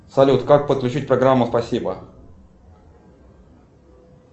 салют как подключить программу спасибо